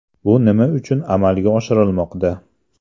Bu nima uchun amalga oshirilmoqda?